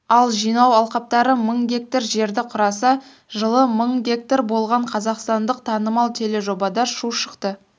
ал жылы жинау алқаптары мың га жерді құраса жылы мың га болған қазақстандықтанымал тележобада шу шықты